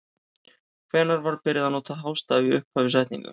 Hvenær var byrjað að nota hástafi í upphafi setninga?